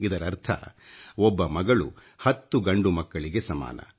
ಇದರರ್ಥ ಒಬ್ಬ ಮಗಳು 10 ಗಂಡು ಮಕ್ಕಳಿಗೆ ಸಮಾನ